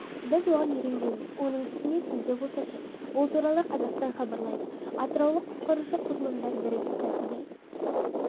біз оған үйренгенбіз оның үстіне түнде болса ше бұл туралы қазақстанхабарлайды атыраулық құтқарушы құрылымдар бірігіп кәсіби